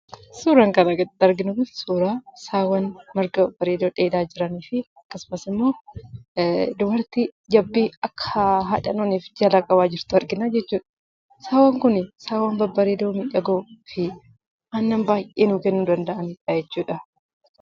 Suuraan argaa jirru kun suuraa saawwa babbareedoo marga dheedaa jiranii fi akkasumas immoo dubartii jabbii akka haadha hin hooneef jalaa qabaa jirtu arginaa jechuudha. Saawwan kun saawwan babbareedoo miidhagoo fi aannan baay'ee nuu kennuu danda'aniidha jechuudha.